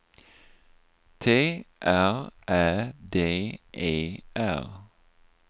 T R Ä D E R